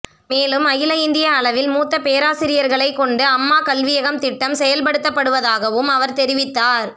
மேலும் அகில இந்திய அளவில் மூத்த பேராசிரியர்களை கொண்டு அம்மா கல்வியகம் திட்டம் செயல்படுத்தபடுவதாகவும் அவர் தெரிவித்தார்